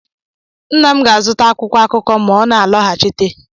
Nna m ga-azụta akwụkwọ akụkọ ma ọ na-alọghachite